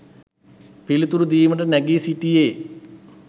පිළිතුරු දීමට නැඟී සිටියේ